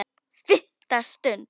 FIMMTA STUND